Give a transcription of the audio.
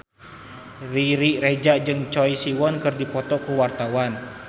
Riri Reza jeung Choi Siwon keur dipoto ku wartawan